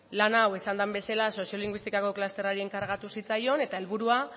lan hau esan den bezala soziolinguistikako klusterrari enkargatu zitzaion eta helburua